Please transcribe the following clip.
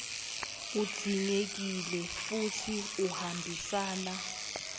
udzingekile futsi uhambisana